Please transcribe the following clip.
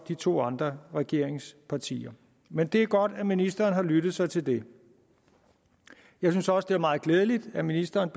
de to andre regeringspartiers men det er godt at ministeren har lyttet sig til det jeg synes også det er meget glædeligt at ministeren